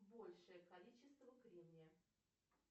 большее количество кремния